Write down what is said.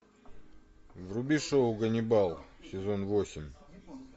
вруби шоу ганнибал сезон восемь